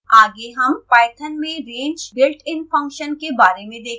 आगे हम python में range builtin function के बारे में देखेंगे